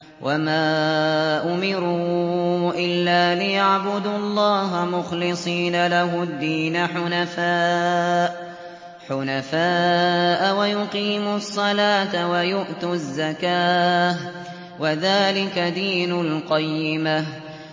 وَمَا أُمِرُوا إِلَّا لِيَعْبُدُوا اللَّهَ مُخْلِصِينَ لَهُ الدِّينَ حُنَفَاءَ وَيُقِيمُوا الصَّلَاةَ وَيُؤْتُوا الزَّكَاةَ ۚ وَذَٰلِكَ دِينُ الْقَيِّمَةِ